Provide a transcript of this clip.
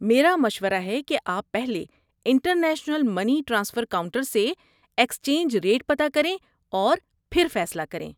میرا مشورہ ہے کہ آپ پہلے انٹرنیشنل منی ٹرانسفر کاؤنٹر سے ایکسچنج ریٹ پتہ کریں اور بھر فیصلہ کریں۔